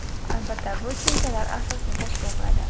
Albatta, bu tushunchlar asosni tashkil qiladi.